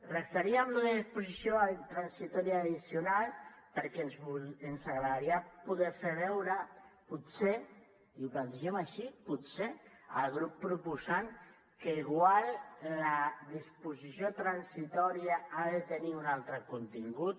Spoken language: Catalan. referíem allò de disposició transitòria addicional perquè ens agradaria poder fer veure potser i ho plantegem així potser al grup proposant que igual la disposició transitòria ha de tenir un altre contingut